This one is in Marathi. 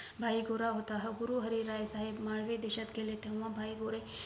भाई गोरा होता हा गुरु हरी राय साहेब माळवे देशात गेले होते तेंव्हा भाई गुरे